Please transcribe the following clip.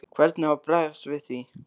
Hvernig á að bregðast við því?